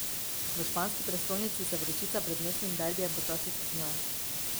V španski prestolnici se vročica pred mestnim derbijem počasi stopnjuje.